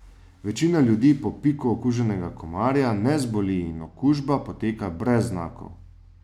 Večina ljudi po piku okuženega komarja ne zboli in okužba poteka brez znakov.